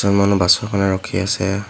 মানুহ বাছৰ কাৰণে ৰখি আছে।